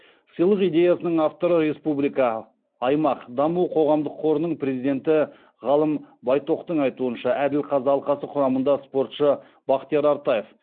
сыйлық идеясының авторы республика аймақ даму қоғамдық қорының президенті ғалым байтоқтың айтуынша әділқазы алқасы құрамында спортшы бақтияр артаев